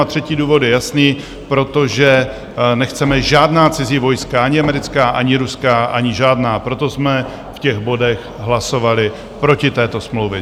A třetí důvod je jasný: protože nechceme žádná cizí vojska - ani americká, ani ruská, ani žádná, proto jsme v těch bodech hlasovali proti této smlouvě.